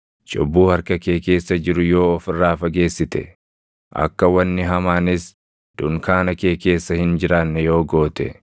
cubbuu harka kee keessa jiru yoo of irraa fageessite, akka wanni hamaanis dunkaana kee keessa hin jiraanne yoo goote,